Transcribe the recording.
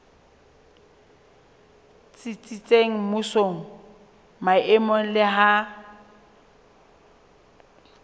tsitsitseng mmusong maemong le ha